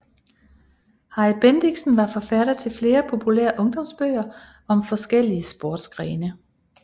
Harry Bendixen var forfatter til flere populære ungdomsbøger om forskellige sportsgrene